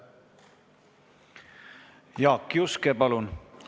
Jaak Juske, palun!